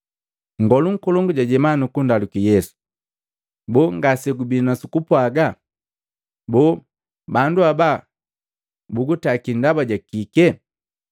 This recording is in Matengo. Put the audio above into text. Nngolu nkolongu jajema nukundaluki Yesu, “Boo ngasegubi nu sukupwaga? Boo bandu aba bugutakii ndaba jakikee?”